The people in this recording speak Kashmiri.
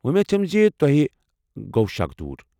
وومید چُھم زِ توہہِ گوٚو شك دوٗر ۔